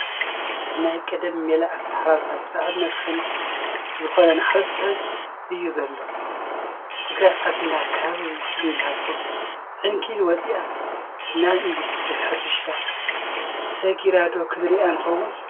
ናይ ቀዳም ሜላ ኣተሓራርሳ ብጣዕሚ መድከሚ ዝኮነ እንሓረሰ እዩ ዘሎ። ትግራይ ዓድና ካብ ዝኒሀቶ ዕንኪሊል ወፂኣስ ናብ ኢንዳስትሪ ሕርሻ ዘጊራ ዶ ክንርኢ ንከውን።